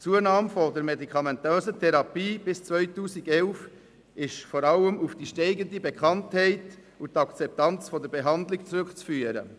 Die Zunahme der medikamentösen Therapie bis ins Jahr 2011 ist vor allem auf die steigende Bekanntheit und die Akzeptanz der Behandlung zurückzuführen.